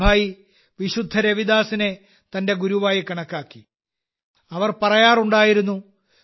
മീരാഭായി വിശുദ്ധ രവിദാസിനെ തന്റെ ഗുരുവായി കണക്കാക്കി അവൾ പറയാറുണ്ടായിരുന്നു